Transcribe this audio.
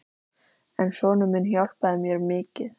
Fólkið safnast einsog flugur í ljóskeilurnar sem skera rökkrið.